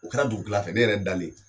U kɛra dugu tila fɛ ne yɛrɛ dalen